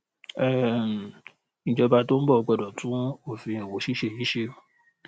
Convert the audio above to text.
um ìjọba tó ń bọ gbọdọ tún òfin òwò ṣíṣe yìí ṣe